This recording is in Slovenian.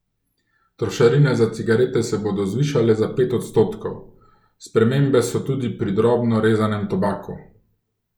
Trošarine za cigarete se bodo zvišale za pet odstotkov, spremembe so tudi pri drobno rezanem tobaku.